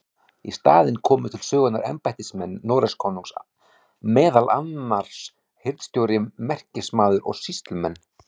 Í staðinn komu til sögunnar embættismenn Noregskonungs, meðal annars hirðstjóri, merkismaður og sýslumenn.